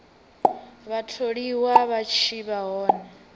vhatholiwa vha tshi vha hone